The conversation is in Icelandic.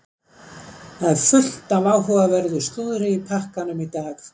Það er fullt af áhugaverðu slúðri í pakkanum í dag.